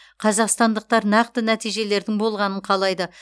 қазақстандықтар нақты нәтижелердің болғанын қалайды